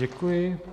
Děkuji.